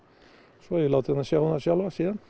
svo hef ég látið hana sjá um það sjálfa síðan